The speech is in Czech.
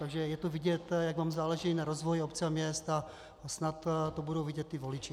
Takže je vidět, jak vám záleží na rozvoji obcí a měst, a snad to budou vidět i voliči.